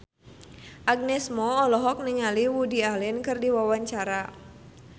Agnes Mo olohok ningali Woody Allen keur diwawancara